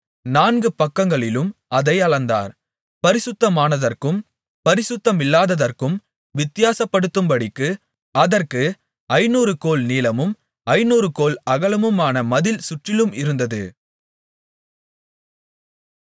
நான்கு பக்கங்களிலும் அதை அளந்தார் பரிசுத்தமானதற்கும் பரிசுத்தமில்லாததற்கும் வித்தியாசப்படுத்தும்படிக்கு அதற்கு ஐந்நூறு கோல் நீளமும் ஐந்நூறு கோல் அகலமுமான மதில் சுற்றிலும் இருந்தது